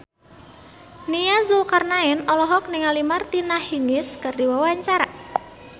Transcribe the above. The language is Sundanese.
Nia Zulkarnaen olohok ningali Martina Hingis keur diwawancara